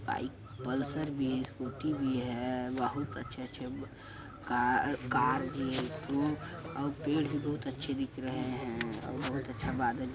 bike Pulsar भी है scooty भी है बहुत अच्छे अच्छे कार भी है और पेड़ भी बहुत अच्छे दिख रहे हैं और बहुत अच्छा बादल भी--